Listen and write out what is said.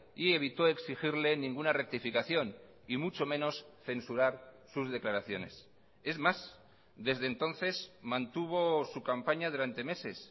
y evito exigirle ninguna rectificación y mucho menos censurar sus declaraciones es más desde entonces mantuvo su campaña durante meses